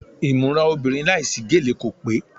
Ìmúra obìnrin láìsí gèlè kò pé.